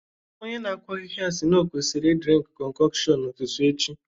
Onye na-akụ ahịhịa sị na o kwesịrị ị drinkụ concoction n'ụtụtụ echi